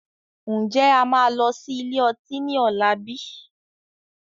Ǹjẹ́ a máa lọ sí ilé ọtí ni ọ̀la bíi?